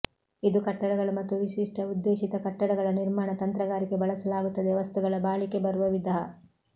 ಇದು ಕಟ್ಟಡಗಳು ಮತ್ತು ವಿಶಿಷ್ಟ ಉದ್ದೇಶಿತ ಕಟ್ಟಡಗಳ ನಿರ್ಮಾಣ ತಂತ್ರಗಾರಿಕೆ ಬಳಸಲಾಗುತ್ತದೆ ವಸ್ತುಗಳ ಬಾಳಿಕೆ ಬರುವ ವಿಧ